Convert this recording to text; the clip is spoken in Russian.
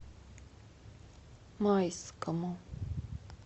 майскому